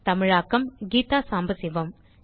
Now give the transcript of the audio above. தமிழாக்கம் கீதா சம்பசிவம்